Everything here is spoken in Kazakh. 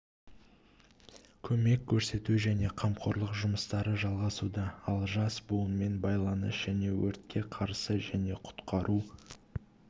көмек көрсету және қамқорлық жұмыстары жалғасуда ал жас буынмен байланыс және өртке қарсы және құтқару